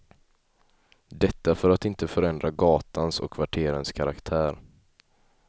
Detta för att inte förändra gatans och kvarterens karaktär.